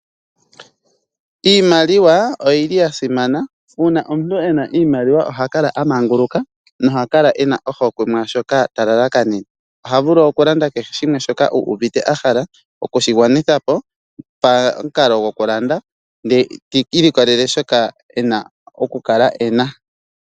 Iimaliwa oyili yasimana uuna omuntu ena iimaliwa oha kala aamanguluka no hakala ena ohokwe mwashoka talalakanene oha vulu okulanda kehe shimwe shoka uuvite ahala okushigwanithapo paamukalo gokulanda ndee tiilikolele shoka ena okukala ena.